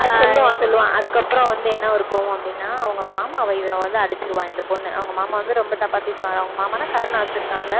ஆஹ் சொல்லுவான் சொல்லுவான் அதுக்கப்புறம் வந்து என்ன ஒரு கோவம் அப்படின்னா அவங்க மாமாவ இவ வந்து அடிச்சிருவா இந்த பொண்ணு அவங்க மாமா வந்து ரொம்ப தப்பா பேசுவாரு அவங்க மாமான்னா கருணாஸ் இருக்கான்ல